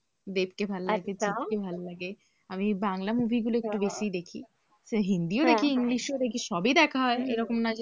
দেবকে ভালো লাগে জিৎ কে ভালো লাগে আমি বাংলা movie গুলো একটু বেশি দেখি হিন্দিও দেখি english ও দেখি সবই দেখা হয় এরকম নয় যে,